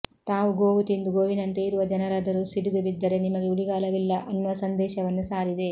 ತಾವು ಗೋವು ತಿಂದು ಗೋವಿನಂತೆ ಇರುವ ಜನರಾದರೂ ಸಿಡಿದುಬಿದ್ದರೆ ನಿಮಗೆ ಉಳಿಗಾಲವಿಲ್ಲ ಅನ್ನುವ ಸಂದೇಶವನ್ನು ಸಾರಿದೆ